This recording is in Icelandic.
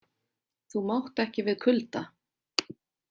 Þú mátt ekki við kulda.